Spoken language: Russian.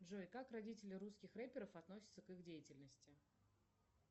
джой как родители русских рэперов относятся к их деятельности